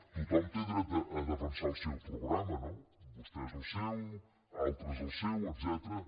tothom té dret a defensar el seu programa no vostès el seu altres el seu etcètera